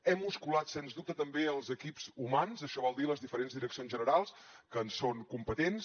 hem musculat sens dubte també els equips humans això vol dir les diferents direccions generals que en són competents